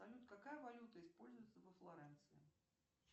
салют какая валюта используется во флоренции